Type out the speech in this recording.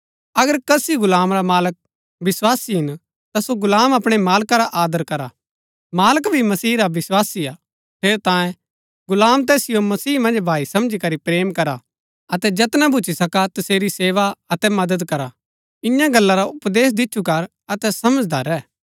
अगर कसी गुलाम रा मालक विस्वासी हिन ता सो गुलाम अपणै मालका रा आदर करा मालक भी मसीह रा विस्वासी हा ठेरैतांये गुलाम तैसिओ मसीह मन्ज भाई समझी करी प्रेम करा अतै जैतना भूच्ची सका तसेरी सेवा अतै मदद करा इन्या गल्ला रा उपदेश दिच्छु कर अतै समझांदा रैह